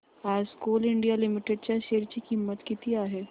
आज coal India limited च्या शेअर ची किंमत किती आहे